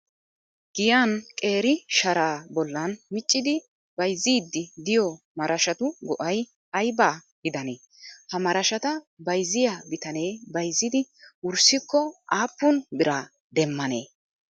Giyan qeeri sharaa bollan miccidi bayzziddi diyo marashatu go'ay ayibaa gidanee? Ha marashata bayizziyaa bitanee bayizziidi wurssikko aappun biraa demmanee?